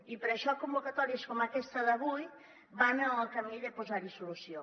i per això convocatòries com aquesta d’avui van en el camí de posar hi solució